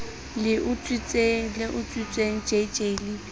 le utswitsweng jj le b